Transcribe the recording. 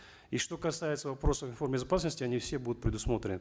и что касается вопросов информ безопасности они все будут предусмотрены